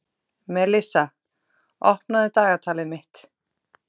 Melissa, opnaðu dagatalið mitt.